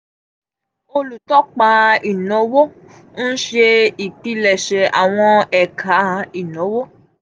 olutọpa inawo n ṣe ipilẹṣẹ awọn ẹka inawo.